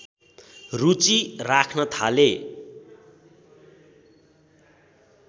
रूचि राख्न थाले